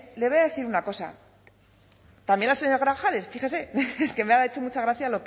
les voy a decir una cosa también al señor grajales fíjese es que me ha hecho mucha gracia